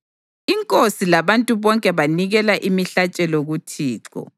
Inkosi labantu bonke banikela imihlatshelo kuThixo.